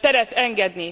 teret engedni.